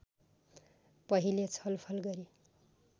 पहिले छलफल गरी